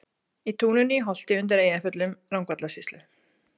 Í túninu í Holti undir Eyjafjöllum, Rangárvallasýslu.